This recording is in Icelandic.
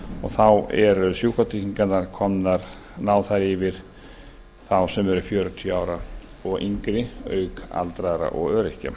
þá ná sjúkratryggingarnar yfir þá sem eru fjörutíu ára og yngri auk aldraðra og öryrkja